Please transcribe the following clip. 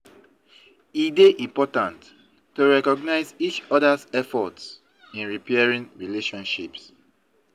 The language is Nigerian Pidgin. E dey important to recognize each other's effort in repairing relationship.